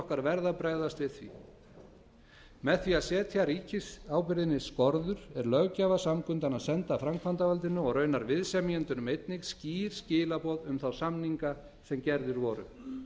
okkar verða að bregðast við því með því að setja ríkisábyrgðinni skorður er löggjafarsamkundan að senda framkvæmdarvaldinu og raunar viðsemjendunum einnig skýr skilaboð um þá samninga sem gerðir voru